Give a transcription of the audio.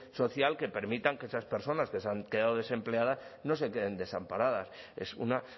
social que permitan que esas personas que se han quedado desempleadas no se queden desamparadas es una